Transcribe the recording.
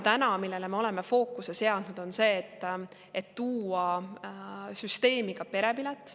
Täna me oleme fookuse seadnud sellele, et tuua süsteemi ka perepilet.